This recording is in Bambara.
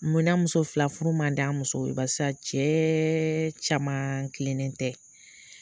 Munna muso fila furu mandi an musow ye barisa cɛɛ camaan tilenen tɛ.